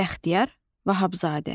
Bəxtiyar Vahabzadə.